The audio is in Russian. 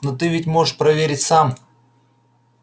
но ты ведь можешь проверить сам